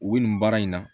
U bɛ nin baara in na